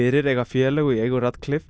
fyrir eiga félög í eigu